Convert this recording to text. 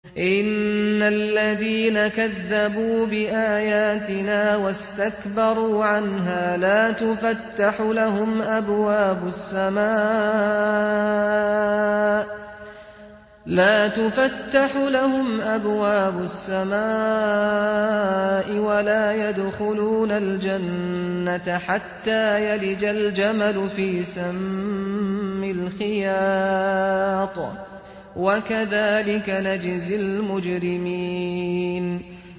إِنَّ الَّذِينَ كَذَّبُوا بِآيَاتِنَا وَاسْتَكْبَرُوا عَنْهَا لَا تُفَتَّحُ لَهُمْ أَبْوَابُ السَّمَاءِ وَلَا يَدْخُلُونَ الْجَنَّةَ حَتَّىٰ يَلِجَ الْجَمَلُ فِي سَمِّ الْخِيَاطِ ۚ وَكَذَٰلِكَ نَجْزِي الْمُجْرِمِينَ